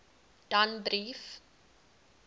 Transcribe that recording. danbrief